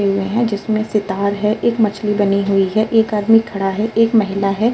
यहाँ जिसमें से तार है। एक मछली बनी हुई है। एक आदमी खड़ा है। एक महिला है।